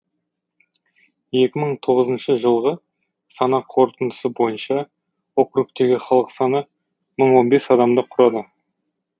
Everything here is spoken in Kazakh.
екі мың тоғызыншы жылғы санақ қорытындысы бойынша округтегі халық саны мың он бес адамды құрады